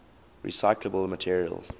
recyclable materials